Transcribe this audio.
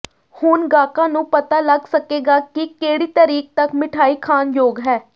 ਹੁਣ ਗਾਹਕਾਂ ਨੂੰ ਪਤਾ ਲੱਗ ਸਕੇਗਾ ਕਿ ਕਿਹੜੀ ਤਰੀਕ ਤਕ ਮਠਿਆਈ ਖਾਣ ਯੋਗ ਹੈ